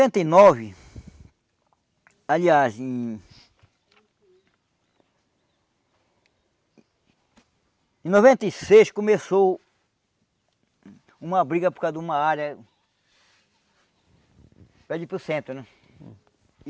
e nova... Aliás, em... Em noventa e seis começou... Uma briga por causa de uma área... para o centro, né?